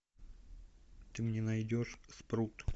ты мне найдешь спрут